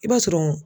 I b'a sɔrɔ